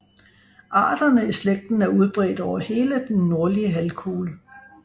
Arterne i slægten er udbredt over hele den nordlige halvkugle